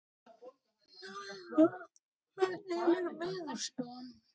Laufar, hvernig er veðurspáin?